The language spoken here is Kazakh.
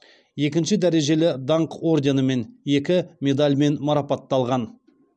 екінші дәрежелі даңқ орденімен екі медальмен марапатталған